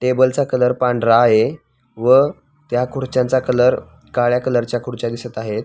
टेबलचा कलर पांढरा आहे व त्या खुर्च्यांचा कलर काळ्या कलर च्या खुर्च्या दिसत आहे.